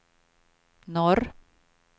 norr